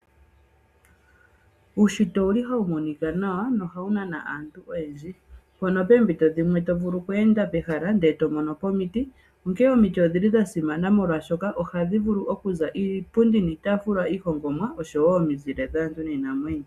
Uunshitwe owuli hawu monika nawa nohawu nana aantu oyendji. Mpono poompito dhimwe tovulu okweenda pehala eto monopo omiti, onkene omiti odhili dhasimana molwaashoka ohadhi vulu okuza iipundi niitaafula iihongomwa oshowoo omizile dhaantu niinamwenyo.